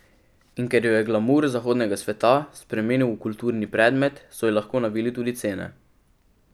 In ker jo je glamur zahodnega sveta spremenil v kultni predmet, so ji lahko navili tudi cene.